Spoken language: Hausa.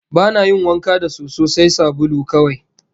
Ba na yin wanka da soso, sai sabulu kawai